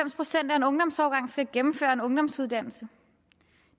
procent af en ungdomsårgang skal gennemføre en ungdomsuddannelse